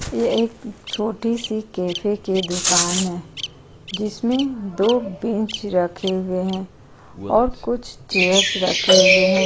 ये एक छोटी सी कैफै के दुकान है जिसमें दो बेंच रखे हुए हैं और कुछ चेयर्स रखे हुए हैं।